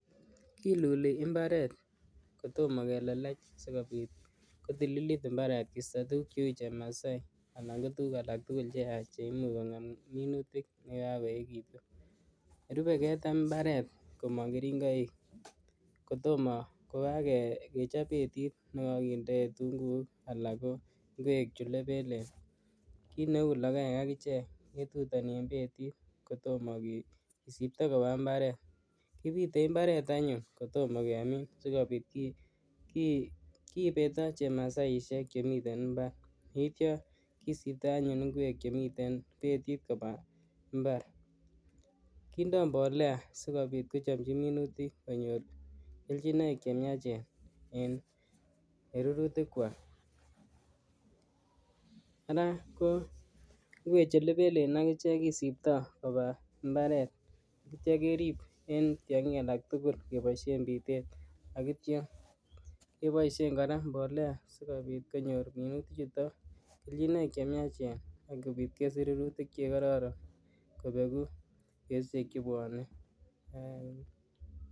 Kiiluli imbaret kotomo kelelech asikopit kotililit imbaaret koisto tuguuk cheu chemaset anan tuguuk age tugul che yachen chemuch kong'em minutik chekakoekechitu, ne rupei ketem imbaraet kamang keringoik kotomo kokakechop ketik nekakindee kituunguk, alak kocheu ingwek chu lepelen , kiit neu logoek akichek ituutan eng petiet kotomo kesipta eng imbaaret, kipite imbaret anyuun kotom kemin sikopit kipetio chemasaesiok chemitei imbar, nityo kisipto anyuun ingwek chemitei petiet koba imbaar, kiindo mbolea sikopit kochamchi minutik konyor kelchinoik eng miachen eng rurutikwai. Ake ko ingwek che lepelen akiche kisiptoi kobaa imbaaret nityo kerip eng tiongik alak tugul eng pitet ainityo kepoishen kora mbolea sikopit konyor minutik chuto kelchinoik chemiachen akopit kesich rurutik che kararan kopeku betusiek che pwanei.